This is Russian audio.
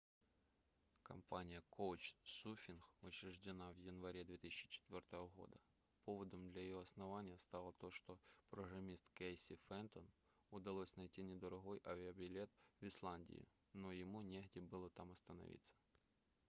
компания couchsurfing учреждена в январе 2004 года поводом для ее основания стало то что программисту кейси фентон удалось найти недорогой авиабилет в исландию но ему негде было там остановиться